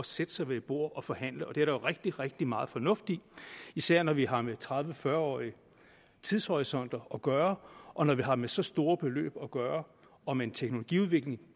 sætte sig ved et bord og forhandle og det er der jo rigtig rigtig meget fornuftigt i især når vi har med tredive til fyrre årige tidshorisonter at gøre og når vi har med så store beløb at gøre og med en teknologiudvikling